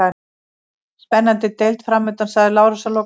Spennandi deild framundan, sagði Lárus að lokum.